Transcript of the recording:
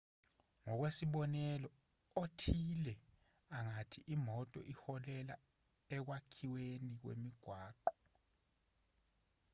ngokwesibonelo othile angathi imoto iholela ekwakhiweni kwemigwaqo